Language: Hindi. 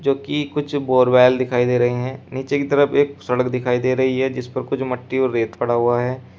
कुछ बोरवेल दिखाई दे रहे हैं नीचे की तरफ एक सड़क दिखाई दे रही है जिस पर कुछ मट्टी और रेत पड़ा हुआ है।